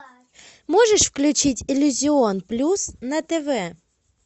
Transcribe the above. можешь включить иллюзион плюс на тв